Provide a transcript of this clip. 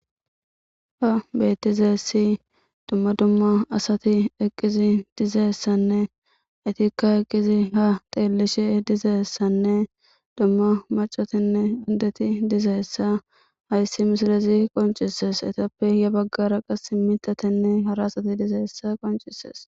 Ha bettizessi dumma dumma asati eqqizi dizaessanne etikka eqqizi ha teellishe dizeessanne dumma macotenne uddeti dizaessa hayssi misilezi qoncises etappe ya baggara qas mitatenne hara asati dizeessa qoncisees.